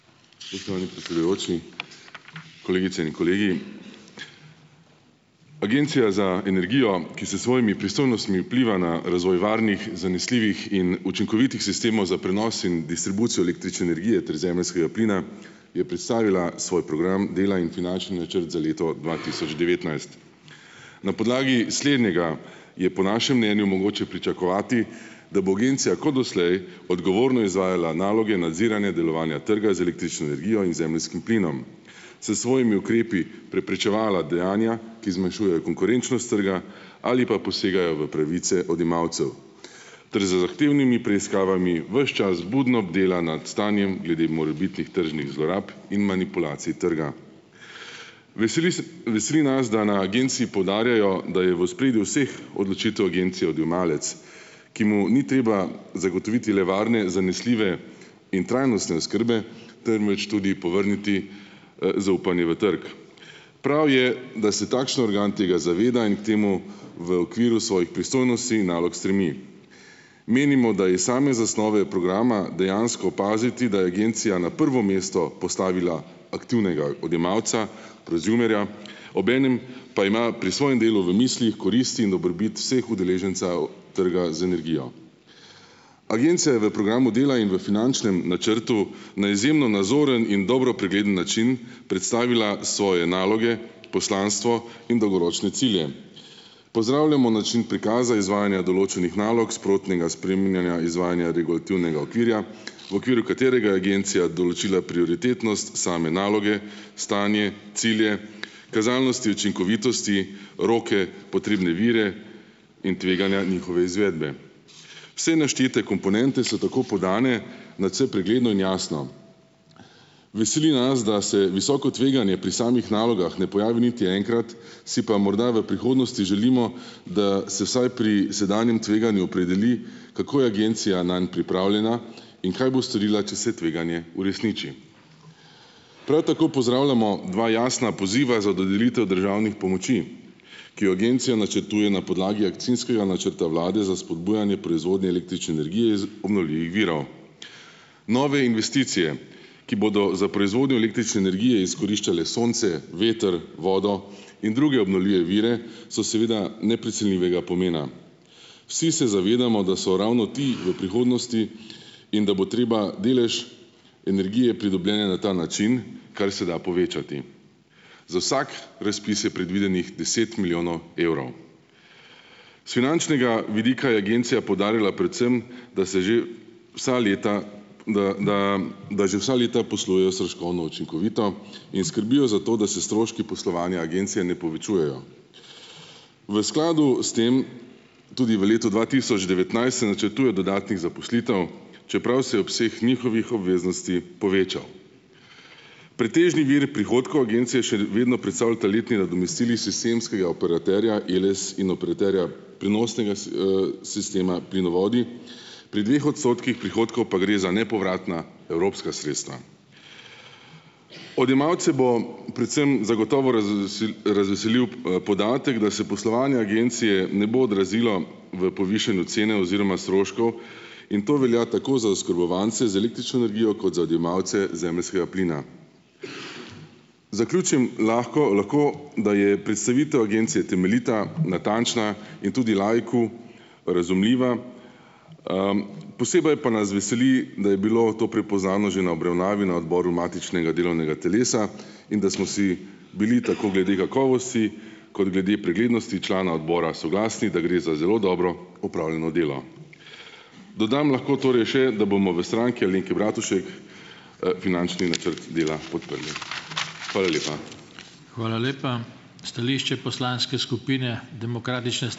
Spoštovani predsedujoči, kolegice in kolegi! Agencija za energijo, ki s svojimi pristojnostmi vpliva na razvoj varnih, zanesljivih in učinkovitih sistemov za prenos in distribucijo električne energije ter zemeljskega plina, je predstavila svoj program dela in finančni načrt za leto dva tisoč devetnajst. Na podlagi slednjega je po našem mnenju mogoče pričakovati, da bo agencija kot doslej odgovorno izvajala naloge nadziranja delovanja trga z električno energijo in zemeljskim plinom, s svojimi ukrepi preprečevala dejanja, ki zmanjšujejo konkurenčnost trga ali pa posegajo v pravice odjemalcev, ter z zahtevnimi preiskavami ves čas budno bdela nad stanjem glede morebitnih tržnih zlorab in manipulacij trga. Veseli, veseli nas, da na agenciji poudarjajo, da je v ospredju vseh odločitev agencije odjemalec, ki mu ni treba zagotoviti le varne, zanesljive in trajnostne oskrbe, temveč tudi povrniti, zaupanje v trg. Prav je, da se takšen organ tega zaveda in k temu v okviru svojih pristojnosti in nalog stremi. Menimo, da je iz same zasnove programa dejansko opaziti, da je agencija na prvo mesto postavila aktivnega odjemalca, prezumerja, obenem pa ima pri svojem delu v mislih koristi in dobrobit vseh udeležencev trga z energijo. Agencija je v programu dela in v finančnem načrtu na izjemno nazoren in dobro pregleden način predstavila svoje naloge, poslanstvo in dolgoročne cilje. Pozdravljamo način prikaza izvajanja določenih nalog, sprotnega spreminjanja izvajanja regulativnega okvirja, v okviru katerega je agencija določila prioritetnost same naloge, stanje, cilje, kazalnosti, učinkovitosti, roke, potrebne vire in tveganja njihove izvedbe. Vse naštete komponente so tako podane nadvse pregledno in jasno. Veseli nas, da se visoko tveganje pri samih nalogah ne pojavi niti enkrat, si pa morda v prihodnosti želimo, da se vsaj pri sedanjem tveganju opredeli, kako je agencija nanj pripravljena in kaj bo storila, če se tveganje uresniči. Prav tako pozdravljamo dva jasna poziva za dodelitev državnih pomoči, ki jo agencija načrtuje na podlagi akcijskega načrta vlade za spodbujanje proizvodnje električne energije iz obnovljivih virov. Nove investicije, ki bodo za proizvodnjo električne energije izkoriščale sonce, veter, vodo in druge obnovljive vire so seveda neprecenljivega pomena. Vsi se zavedamo, da so ravno ti v prihodnosti in da bo treba delež energije, pridobljene na ta način, kar se da povečati. Za vsak razpis je predvidenih deset milijonov evrov. S finančnega vidika je agencija poudarila predvsem, da se že vsa leta, da da da že vsa leta poslujejo stroškovno učinkovito in skrbijo za to, da se stroški poslovanja agencije ne povečujejo. V skladu s tem tudi v letu dva tisoč devetnajst se načrtuje dodatnih zaposlitev, čeprav se je obseg njihovih obveznosti povečal. Pretežni vir prihodkov agencije še vedno predstavljata letni nadomestili sistemskega operaterja Eles in operaterja prenosnega s, sistema Plinovodi. Pri dveh odstotkih prihodkov pa gre za nepovratna evropska sredstva. Odjemalce bo predvsem zagotovo razvevsil razveselil, podatek, da se poslovanje agencije ne bo odrazilo v povišanju cene oziroma stroškov, in to velja tako za oskrbovance z električno energijo kot za odjemalce zemeljskega plina. Zaključim lahko, lahko, da je predstavitev agencije temeljita, natančna in tudi laiku razumljiva. Posebej pa nas veseli, da je bilo to prepoznavno že na obravnavi na odboru matičnega delovnega telesa in da smo si bili tako glede kakovosti kot glede preglednosti člana odbora soglasni, da gre za zelo dobro opravljeno delo. Dodam lahko torej še, da bomo v Stranki Alenke Bratušek, finančni načrt dela podprli. Hvala lepa.